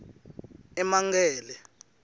emankele